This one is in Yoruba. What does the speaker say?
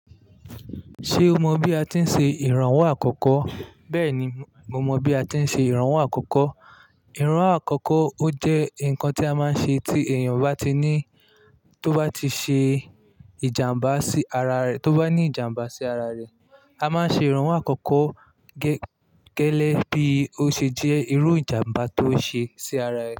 Ṣé o mọ bí a ti ń ṣe ìrànwọ́ àkọ́kọ́? Bẹ́ẹ̀ni, mo mọ bí a ti ń ṣe ìrànwọ́ àkọ́kọ́. Ìrànwọ́ àkọ́kọ́ ó jẹ́ nǹkan tí a máa ń ṣe tí èèyàn bá tí ní tó bá ti ṣe ìjàmbá sí ara rẹ̀, tó bá ní ìjàmbá sí ara rẹ̀. A máa ń ṣe ìrànwọ́ àkọ́kọ́ gẹ́gẹ́ bí ó ṣe jẹ́ irú ìjàmbá tó ṣe sí ara ẹ.